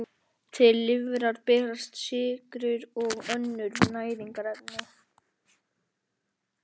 Til lifrar berast sykrur og önnur næringarefni frá smáþörmum.